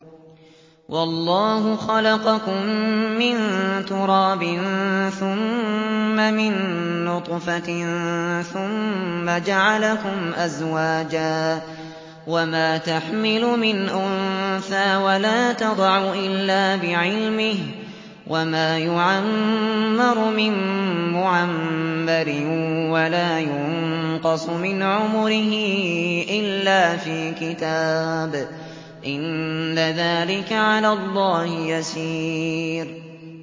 وَاللَّهُ خَلَقَكُم مِّن تُرَابٍ ثُمَّ مِن نُّطْفَةٍ ثُمَّ جَعَلَكُمْ أَزْوَاجًا ۚ وَمَا تَحْمِلُ مِنْ أُنثَىٰ وَلَا تَضَعُ إِلَّا بِعِلْمِهِ ۚ وَمَا يُعَمَّرُ مِن مُّعَمَّرٍ وَلَا يُنقَصُ مِنْ عُمُرِهِ إِلَّا فِي كِتَابٍ ۚ إِنَّ ذَٰلِكَ عَلَى اللَّهِ يَسِيرٌ